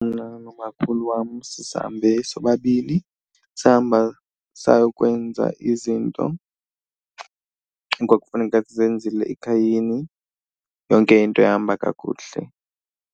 Mna nomakhulu wam sisahambe sobabini, sahamba sayokwenza izinto ekwakufuneka sizenzile ekhayeni. Yonke into yahamba kakuhle.